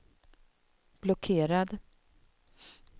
blockerad